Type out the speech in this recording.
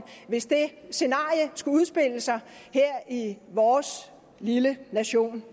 hvis det scenarie skulle udspille sig her i vores lille nation